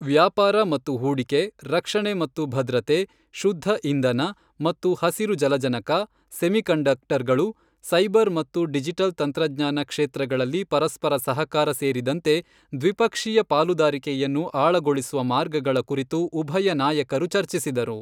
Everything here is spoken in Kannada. ವ್ಯಾಪಾರ ಮತ್ತು ಹೂಡಿಕೆ, ರಕ್ಷಣೆ ಮತ್ತು ಭದ್ರತೆ, ಶುದ್ಧ ಇಂಧನ ಮತ್ತು ಹಸಿರು ಜಲಜನಕ, ಸೆಮಿಕಂಡಕ್ಟರ್ಗಳು, ಸೈಬರ್ ಮತ್ತು ಡಿಜಿಟಲ್ ತಂತ್ರಜ್ಞಾನ ಕ್ಷೇತ್ರಗಳಲ್ಲಿ ಪರಸ್ಪರ ಸಹಕಾರ ಸೇರಿದಂತೆ ದ್ವಿಪಕ್ಷೀಯ ಪಾಲುದಾರಿಕೆಯನ್ನು ಆಳಗೊಳಿಸುವ ಮಾರ್ಗಗಳ ಕುರಿತು ಉಭಯ ನಾಯಕರು ಚರ್ಚಿಸಿದರು.